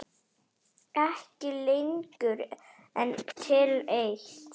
Ekki lengur en til eitt.